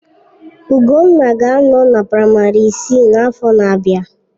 Ugonna ga-anọ na praịmarị isii n'afọ na-abịa.